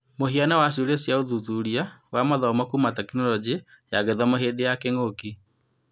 Mũhiano wa ciũria cia ũthuthuria wa mathomo kuuma Tekinoronjĩ ya Gĩthomo hĩndĩ ya kĩng'ũki